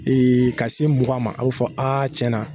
Ee ka se mugan ma, a bɛ fɔ aa tiɲɛna.